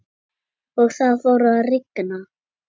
Og það fór að rigna.